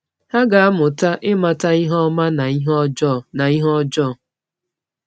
Ha ga-amụta ịmata ihe ọma na ihe ọjọọ. na ihe ọjọọ.